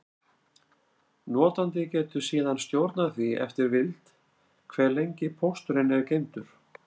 Notandi getur síðan stjórnað því eftir vild, hve lengi pósturinn er geymdur.